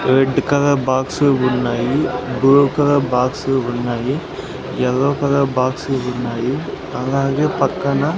red colour box ఉన్నాయి blue colour box ఉన్నాయి yellow colour box ఉన్నాయి అలాగే పక్కన --